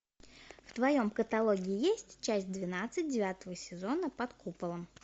в твоем каталоге есть часть двенадцать девятого сезона под куполом